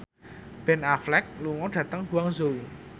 Ben Affleck lunga dhateng Guangzhou